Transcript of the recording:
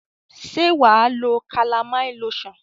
Se waa lo calamine lotion?